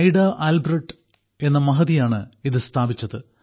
Ida Albert എന്ന മഹതിയാണ് ഇത് സ്ഥാപിച്ചത്